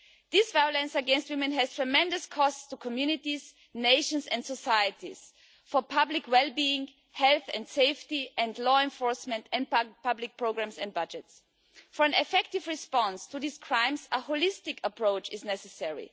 This violence against women has tremendous costs to communities, nations and societies for public wellbeing, health and safety, law enforcement and public programmes and budgets. For an effective response to these crimes, a holistic approach is necessary.